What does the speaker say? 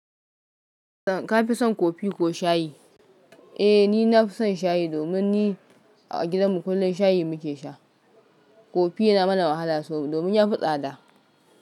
Ka fi son kofi ko shayi? Eh, ni na fi son shayi domin ni a gidanmu kullum shayi muke sha. Kofi yana mana wahala sabo domin ya fi tsada.